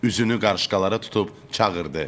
Üzünü qarışqalara tutub çağırdı.